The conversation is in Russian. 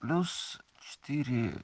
плюс четыре